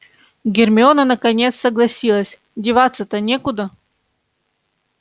гермиона наконец согласилась деваться-то некуда